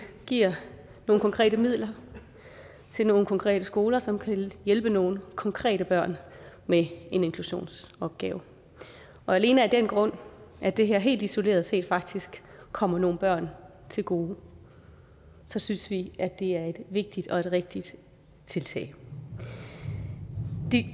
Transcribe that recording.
giver nogle konkrete midler til nogle konkrete skoler som kan hjælpe nogle konkrete børn med en inklusionsopgave og alene af den grund at det her helt isoleret set faktisk kommer nogle børn til gode synes vi at det er et vigtigt og et rigtigt tiltag